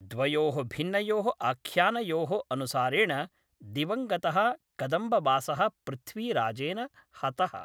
द्वयोः भिन्नयोः आख्यानयोः अनुसारेण, दिवङ्गतः कदम्बवासः पृथ्वीराजेन हतः।